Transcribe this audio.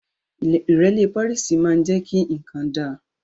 Ìrẹ́lẹ́ párìsì jẹ́ kí nǹkan dá